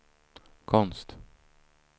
konst